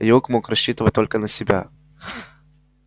юг мог рассчитывать только на себя